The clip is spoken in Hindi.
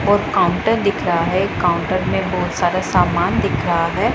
और काउंटर दिख रहा है काउंटर में बहुत सारे समान दिख रहा है।